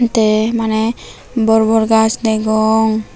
tey maney borbor gaas degong.